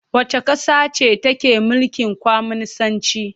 Wacce ƙasa ce take mulkin Kwaminisanci?